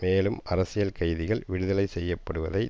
மேலும் அரசியல் கைதிகள் விடுதலை செய்யப்படுவதை